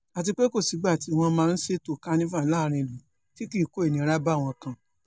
àti pé kò sígbà tí wọ́n máa ṣètò kanifa láàrin ìlú tí kì í kó ìnira báwọn kan